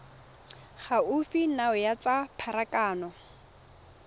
gaufi nao ya tsa pharakano